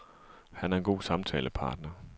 Han er en god samtalepartner.